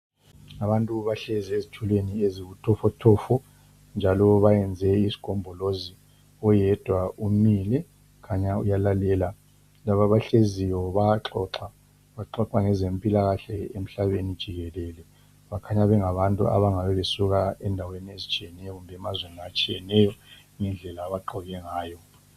Abantu bahlezi ezitulweni eziyibutofotofo njalo bayenze isigombolozi. Oyedwa umile, kukhanya uyalalela, laba abahleziyo bayaxoxa. Baxoxa ngezempilakahle emhlabeni jikelele. Bakhanya bengabantu abangabebesuka endaweni ezitshiyeneyo kumbe emazweni atshiyeneyo ngendlela abagqoke ngayo.